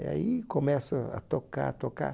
E aí começa a tocar, a tocar.